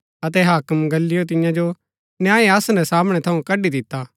अतै हाक्म गल्लियो तियां जो न्याय आसन रै सामणै थऊँ कड्ड़ी दिता